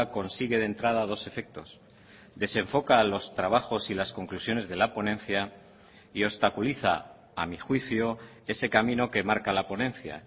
consigue de entrada dos efectos desenfoca los trabajos y las conclusiones de la ponencia y obstaculiza a mi juicio ese camino que marca la ponencia